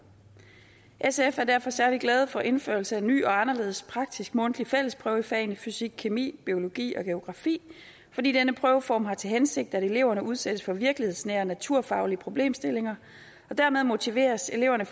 sf er derfor særlig glade for indførelsen af en ny og anderledes praktisk mundtlig fællesprøve i fagene fysikkemi biologi og geografi fordi denne prøveform har til hensigt at eleverne udsættes for virkelighedsnære naturfaglige problemstillinger og dermed motiveres eleverne